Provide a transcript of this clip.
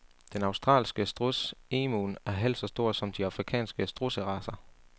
Den australske struds, emuen, er halvt så stor som de afrikanske strudseracer.